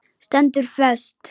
Stendur föst.